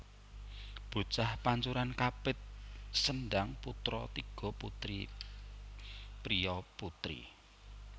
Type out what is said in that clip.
Bocah pancuran kapit sendhang putra tiga putri priya putri